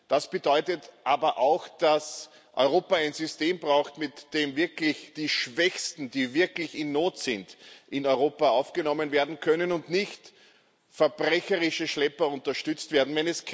Das bedeutet aber auch, dass Europa ein System braucht, mit dem wirklich die Schwächsten, die wirklich in Not sind, in Europa aufgenommen werden können und nicht verbrecherische Schlepper unterstützt werden.